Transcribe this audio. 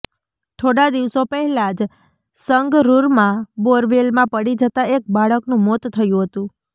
થોડા દિવસો પહેલાં જ સંગરૂરમાં બોરવેલમાં પડી જતાં એક બાળકનું મોત થયું હતું